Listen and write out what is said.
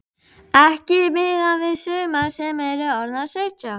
Ekki miðað við sumar sem eru orðnar sautján.